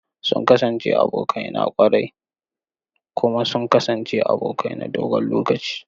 Sun kasance abokai na ƙwarai kuma sun kasance abokai na dogon lokaci.